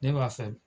Ne b'a fɛ